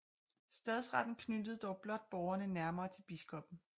Stadsretten knyttede dog blot borgerne nærmere til biskoppen